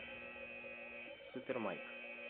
супермайк